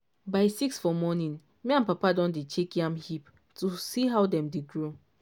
by six for morning me and papa don dey check yam heap to see how dem dey grow.